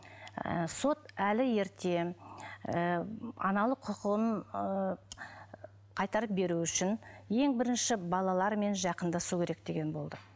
і сот әлі ерте ііі аналық құқығын ыыы қайтарып беру үшін ең бірінші балалармен жақындасу керек деген болды